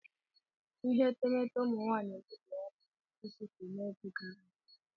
Ihe etemeete ụmụ nwaanyị emebiela n'ihi isụsọ n'oge gara aga.